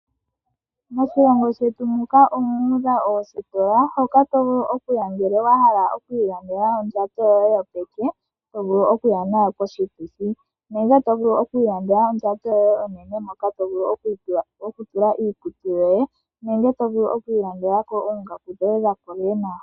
Moshilongo shetu muka omu udha oositola, moka to vulu okuya ngele wa hala okwiilandela ondjato yoye yopeke, ndjoka to vulu okuya nayo koshituthi. Oto vulu okwiilandela ondjato yoye onene moka to vulu okutula iikutu yoye nenge to vulu okwiilandela oongaku dhoye dha kola lela.